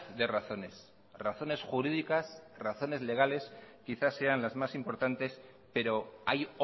de razones razones jurídicas razones legales quizás sean las más importantes pero hay